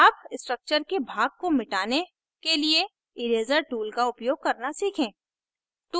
अब structure के भाग को मिटने के लिए eraser tool का उपयोग करना सीखें